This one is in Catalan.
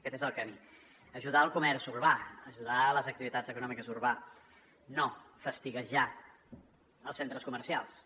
aquest és el camí ajudar el comerç urbà ajudar les activitats econòmiques urbanes no fastiguejar els centres comercials